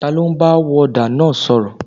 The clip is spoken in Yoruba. Taló ń bá wọ́ọ́dà náà sọ̀rọ̀?